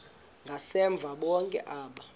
ngasemva bonke aba